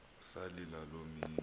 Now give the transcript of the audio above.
salila loo mini